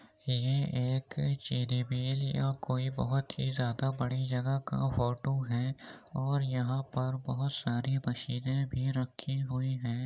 ये एक या कोई बहोत ही ज्यादा बड़ी जगह का फोटू है और यहां पर बहोत सारी मशीनें भी रखी हुई हैं।